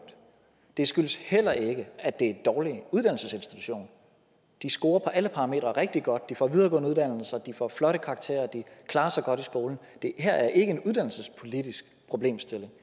det skyldes heller ikke at det er en dårlig uddannelsesinstitution de scorer rigtig godt de får videregående uddannelser de får flotte karakterer og de klarer sig godt i skolen det her er ikke en uddannelsespolitisk problemstilling